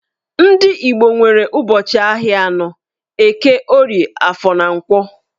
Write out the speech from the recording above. Ndị Igbo nwere ụbọchị ahịa anọ - Eke, Orie, Afọ, na Nkwọ.